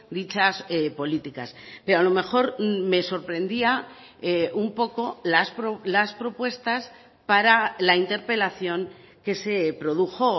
dichas políticas pero a lo mejor me sorprendía un poco las propuestas para la interpelación que se produjo